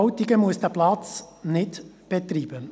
Wileroltigen muss diesen Platz nicht betreiben.